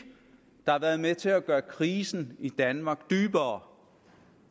der har været med til at gøre krisen i danmark dybere